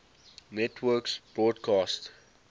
networks broadcast